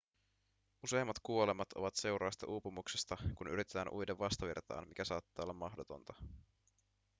useimmat kuolemat ovat seurausta uupumuksesta kun yritetään uida vastavirtaan mikä saattaa olla mahdotonta